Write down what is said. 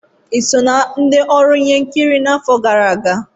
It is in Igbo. Ị so na ndị ọrụ ihe nkiri n'afọ gara aga?